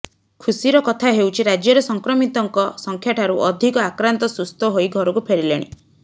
ଖୁସିର କଥା ହେଉଛି ରାଜ୍ୟରେ ସଂକ୍ରମିତଙ୍କ ସଂଖ୍ୟାଠାରୁ ଅଧିକ ଆକ୍ରାନ୍ତ ସୁସ୍ଥ ହୋଇ ଘରକୁ ଫେରିଲେଣି